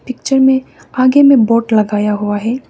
Picture में आगे मे बोर्ड लगाया हुआ है।